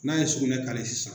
N'a ye sugunɛ sisan